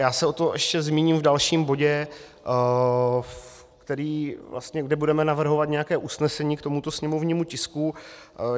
Já se o tom ještě zmíním v dalším bodě, kde budeme navrhovat nějaké usnesení k tomuto sněmovnímu tisku.